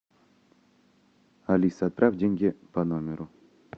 алиса отправь деньги по номеру